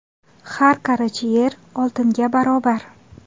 Har qarich yer oltinga barobar.